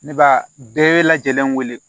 Ne b'a bɛɛ lajɛlen wele